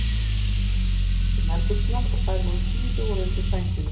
Hann var kominn í stuttu nærbuxurnar og þær síðu voru undir sænginni.